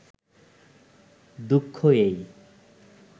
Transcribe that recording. দুঃখ এই